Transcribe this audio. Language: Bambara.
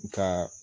Nka